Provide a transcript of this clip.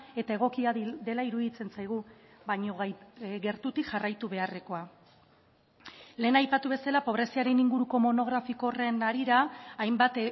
eta egokia dela iruditzen zaigu baina gertutik jarraitu beharrekoa lehen aipatu bezala pobreziaren inguruko monografiko horren harira hainbat